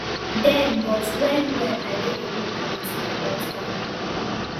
dem but wen wen i dey alone i dey think about her